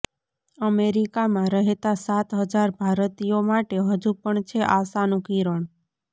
અમેરિકામાં રહેતા સાત હજાર ભારતીયો માટે હજુ પણ છે આશાનું કિરણ